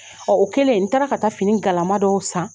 o kɛlen n taara ka taa fini galama dɔw san